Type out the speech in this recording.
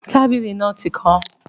Tábìlì náà tí kán